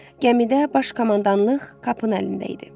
Gəmidə baş komandanlıq Kapın əlində idi.